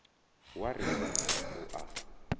wa ri singo u a